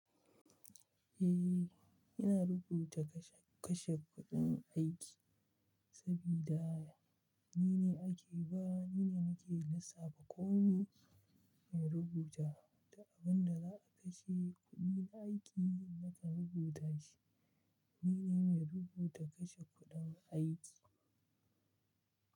Eh, ina rubuta kashe-kashen kuɗin aiki sabida ni ne ake ba ni ne nake lissafa komai in rubuta da abin da za a kashe kuɗin aiki nakan rubuta shi. Ni ne mai rubuta kashe kuɗin aiki.